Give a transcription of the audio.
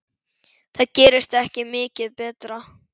Það gerist ekki mikið betra.